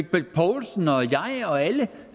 bech poulsen og jeg og alle